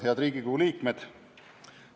Head Riigikogu liikmed!